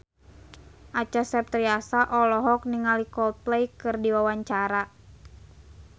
Acha Septriasa olohok ningali Coldplay keur diwawancara